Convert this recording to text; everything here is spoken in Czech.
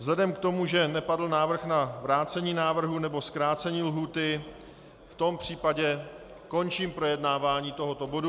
Vzhledem k tomu, že nepadl návrh na vrácení návrhu nebo zkrácení lhůty, v tom případě končím projednávání tohoto bodu.